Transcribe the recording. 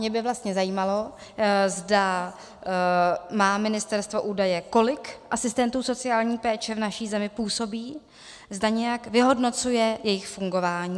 Mě by vlastně zajímalo, zda má ministerstvo údaje, kolik asistentů sociální péče v naší zemi působí, zda nějak vyhodnocuje jejich fungování.